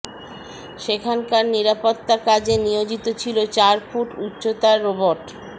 সেখানকার নিরাপত্তা কাজে নিয়োজিত ছিলো চার ফুট উচ্চতার রোবট